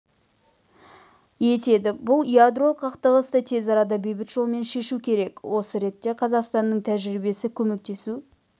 етеді бұл ядролық қақтығысты тез арада бейбіт жолмен шешу керек осы ретте қазақстанның тәжірибесі көмектесу